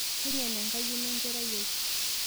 Keig'en enkayioni e nkerai ai